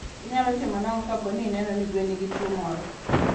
Inyalo timo nang'o kapo ni ineno ni gweno nigi tuwo moro?